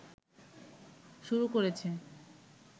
শুরু করেছে